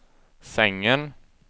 sängen